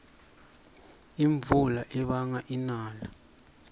imvula ibanga inala